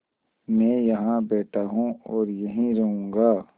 मैं यहाँ बैठा हूँ और यहीं रहूँगा